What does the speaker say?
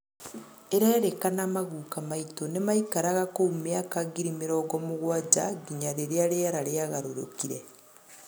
ĩrerĩkana maguka maitũ nĩmaĩkaraga kũu mĩaka ngĩrĩ mĩrongo mũgwanja ngĩnya rĩrĩa rĩera rĩagarũrũkire